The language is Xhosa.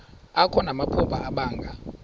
akho namaphupha abanga